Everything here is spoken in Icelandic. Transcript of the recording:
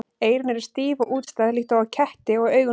Eyrun eru stíf og útstæð líkt og á ketti og augun stór.